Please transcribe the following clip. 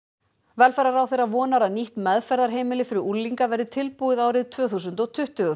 velferðarráðherra vonar að nýtt meðferðarheimili fyrir unglinga verði tilbúið árið tvö þúsund og tuttugu